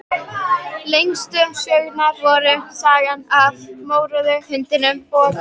Lengstu sögurnar voru Sagan af mórauða hundinum og